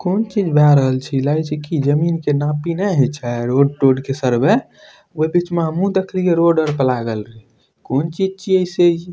कौन चीज़ भय रहल छै इ लागे छै कि जमीन के नापी न हई छै रोड तोड के सर्वे ओय बीच में हमु देखलिये रोड आर पर लागल रहे कौन चीज़ छिये से इ।